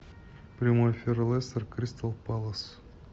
прямой эфир лестер кристал пэлас